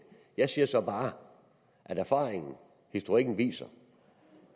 jeg siger så bare at erfaringen og historikken viser